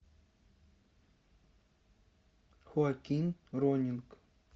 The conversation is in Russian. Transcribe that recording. хоаким роннинг